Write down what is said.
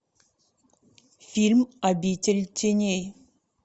фильм обитель теней